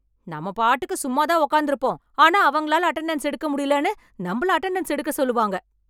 நம்ம பாட்டுக்கு சும்மாதான் உட்கார்ந்து இருப்போம் ஆனா அவங்களால அட்டெண்டன்ஸ் எடுக்க முடியலன்னு நம்மல அட்டெண்டன்ஸ் எடுக்க சொல்லுவாங்க